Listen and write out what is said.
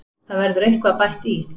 Það verður eitthvað bætt í.